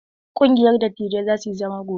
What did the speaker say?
Ƙungiyar dattijai za su yi zama gobe.